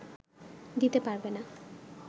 দিতে পারবে না